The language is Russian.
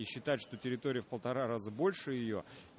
и считать что территория в полтора раза больше её